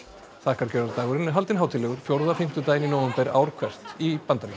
þakkargjörðardagurinn er haldinn hátíðlegur fjórða fimmtudaginn í nóvember ár hvert í Bandaríkjunum